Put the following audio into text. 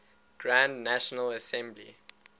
grand national assembly